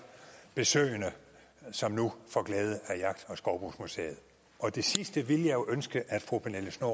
besøgende som nu får glæde af jagt og skovbrugsmuseet og det sidste ville jeg ønske at fru pernille schnoor